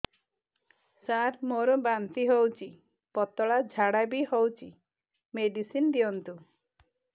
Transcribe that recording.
ସାର ମୋର ବାନ୍ତି ହଉଚି ପତଲା ଝାଡା ବି ହଉଚି ମେଡିସିନ ଦିଅନ୍ତୁ